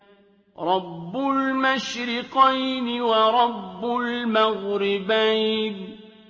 رَبُّ الْمَشْرِقَيْنِ وَرَبُّ الْمَغْرِبَيْنِ